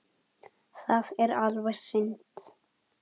Það er alveg synd